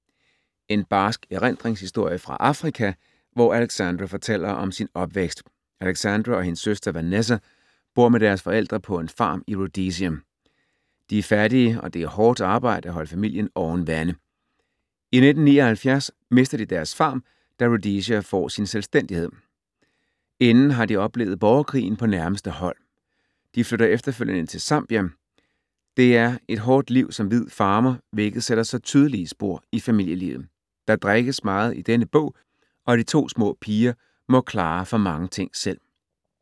En barsk erindringshistorie fra Afrika, hvor Alexandra fortæller om sin opvækst. Alexandra og hendes søster Vanessa bor med deres forældre på en farm i Rhodesia. De er fattige og det er hårdt arbejde at holde familien oven vande. I 1979 mister de deres farm, da Rhodesia får sin selvstændighed. Inden har de oplevet borgerkrigen på nærmeste hold. De flytter efterfølgende til Zambia. Det er et hårdt liv som hvid farmer, hvilket sætter sig tydelige spor i familielivet. Der drikkes meget i denne bog, og de to små piger må klare for mange ting selv.